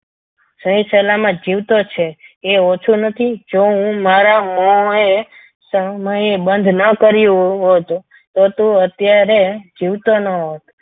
સહી સલામત જીવતો છે એ ઓછું નથી જો હું મારા મોં એ સમય બંધ ના કરી તો તું અત્યારે જીવતો ના હોત